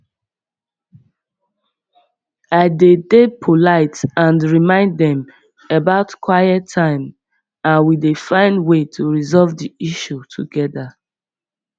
i dey dey polite and remind dem about quiet time and we dey find way to resolve di issue together